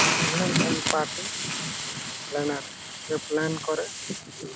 Event end পারতেন যারা plan করেন।